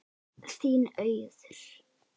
Þín, Auður.